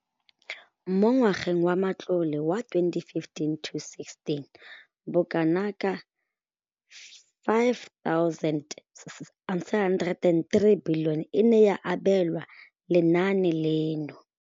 Mo ngwageng wa matlole wa 2015 le 2016, bokanaka R5 703 bilione e ne ya abelwa lenaane leno.